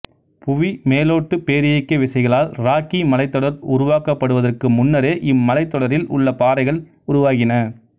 புவிமேலோட்டுப் பேரியக்க விசைகளால் ராக்கி மலைத்தொடர் உருவாக்கப்படுவதற்கு முன்னரே இம்மலைத்தொடரில் உள்ள பாறைகள் உருவாகின